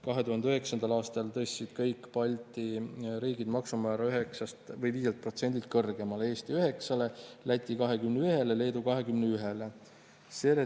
2009. aastal tõstsid kõik Balti maksumäära 5%-lt kõrgemale: Eesti 9%-le, Läti 21%-le, Leedu 21%-le.